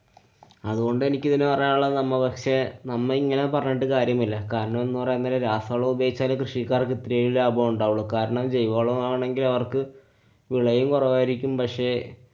അതുകൊണ്ട് എനിക്ക് ഇതില് പറയാനുള്ളത് നമ്മ പക്ഷെ നമ്മളിങ്ങനെ പറഞ്ഞിട്ട് കാര്യമില്ലാ. കരണംന്നു പറയാന്‍ നേരം രാസവളം ഉപയോഗിച്ചാലെ കൃഷിക്കാര്‍ക്ക് ഇത്തിരേലും ലാഭം ഉണ്ടാവൊള്ളൂ. കാരണം ജൈവവളമാണെങ്കില്‍ അവര്‍ക്ക് വിളയും കുറവായിരിക്കും പക്ഷെ